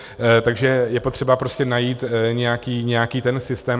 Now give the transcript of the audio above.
Takže je potřeba prostě najít nějaký ten systém.